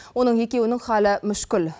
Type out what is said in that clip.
оның екеуінің халі мүшкіл